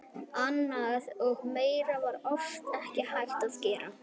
Annað og meira var oft ekki hægt að gera.